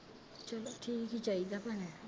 ਚਲੋ ਠੀਕ ਠਾਕ ਈ ਚਾਹੀਦਾ ਭੈਣੇ